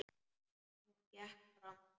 Hún gekk fram.